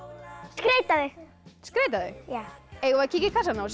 skreyta þau skreyta þau eigum við að kíkja í kassana og